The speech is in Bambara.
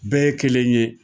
Bɛɛ ye kelen ye